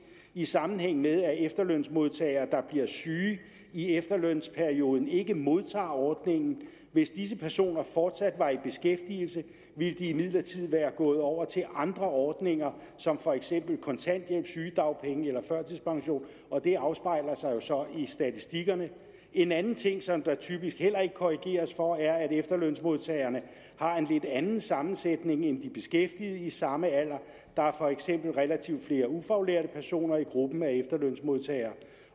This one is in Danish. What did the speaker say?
i sammenhæng med at efterlønsmodtagere der bliver syge i efterlønsperioden ikke modtager ordningen hvis disse personer fortsat var i beskæftigelse ville de imidlertid være gået over til andre ordninger som for eksempel kontanthjælp sygedagpenge eller førtidspension og det afspejler sig jo så i statistikkerne en anden ting som der typisk heller ikke korrigeres for er at efterlønsmodtagere har en lidt anden sammensætning end de beskæftigede i samme alder der er for eksempel relativt flere ufaglærte personer i gruppen af efterlønsmodtagere